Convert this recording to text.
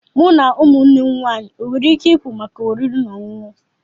Mụ na ụmụnne m nwanyị enwere ike ịpụ maka oriri na ọṅụṅụ?